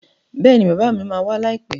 Bẹ́ẹ̀ni bàbá mi ma wá láìpẹ́